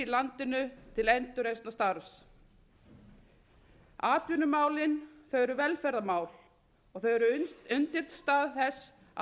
landinu til endurreisnarstarfs atvinnumálin þau eru velferðarmál þau eru undirstaða þess að